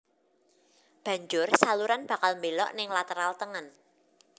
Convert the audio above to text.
Banjur saluran bakal mbelok ning lateral tengen